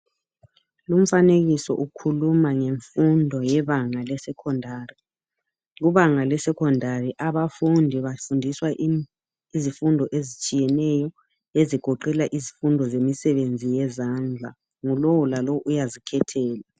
Lumfanekiso ukhuluma ngemfundo yebanga le secondary ibanga le secondary abafundi bafundiswa izifundo ezitshiyeneyo ezigoqela izifundo zemisebenzi yezandla yilowo lalowo uyazikhethela.